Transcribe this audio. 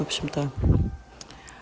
в общем-то